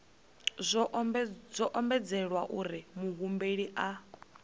zwo ombedzelwa uri muhumbeli a